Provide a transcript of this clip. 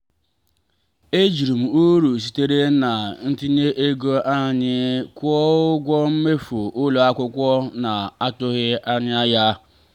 ejiri m uru sitere na ntinye ego anyị kwụọ ụgwọ mmefu ụlọ akwụkwọ na-atụghị anya ya.